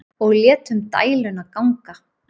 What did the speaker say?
Og létum dæluna ganga.